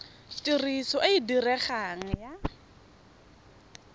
tiriso e e diregang ya